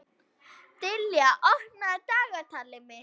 Dilja, opnaðu dagatalið mitt.